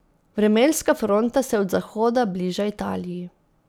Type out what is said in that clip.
Vremenska fronta se od zahoda bliža Italiji.